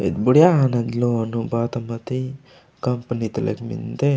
बुडीया है न लोनु बाता मति कंपनी तलख मिन्दे।